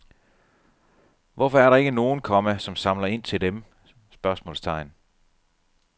Hvorfor er der ikke nogen, komma som samler ind til dem? spørgsmålstegn